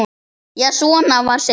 Já, svona var Sigga!